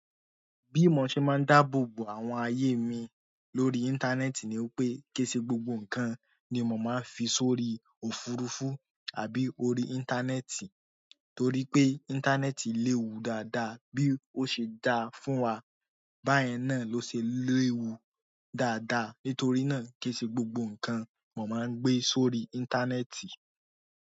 Bí mo ṣe máa ń dáàbò bo àwọn ayé mi lórí íńtánẹ́ẹ̀tì ni pé, kí í sì gbogbo ǹkan ni mò máa ń fi sórí òfurufú àbí orí íńtánẹ́ẹ̀tì. Torí pé íńtánẹ́ẹ̀tì léwu dáadáa bí ó ṣe dáa fún wa, báyẹn náà ló ṣe léwu dáadáa. Nítorí náà kí í sì gbogbo ǹkan mò máa ń gbé sórí íńtánẹ́ẹ̀tì.